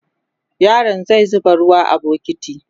yaron zai zuba ruwa a bukiti